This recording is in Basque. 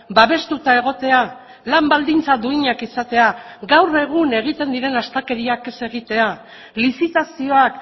babestuta egotea lan baldintza duinak izatea gaur egun egiten diren astakeriak ez egitea lizitazioak